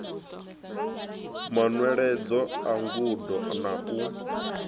manweledzo a ngudo na u